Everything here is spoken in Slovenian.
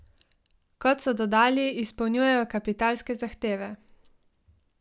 Kot so dodali, izpolnjujejo kapitalske zahteve.